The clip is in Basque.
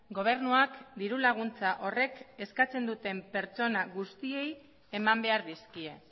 gobernuak dirulaguntza horrek eskatzen duten pertsona guztiei eman behar dizkie